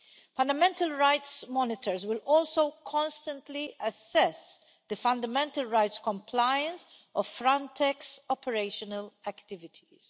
Fundamental rights monitors will also constantly assess the fundamental rights compliance of Frontex operational activities.